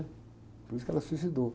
Por isso que ela se suicidou.